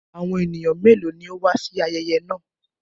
Àwọn ènìyàn mélòó ni ó wà sí ayẹyẹ náà?